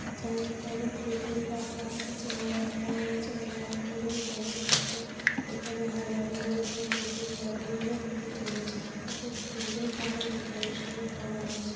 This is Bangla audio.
চারিদিকে অনেক টেবিল রাখা আছে চেয়ার রাখা হয়েছে না হলেও কম পক্ষে এখানে হাজার এর মতো লোকের গ্যাদারিং -ও হতে চলেছে এরা খুব সুন্দর ভাবে ডেকোরেশন -ও করা হয়েছে।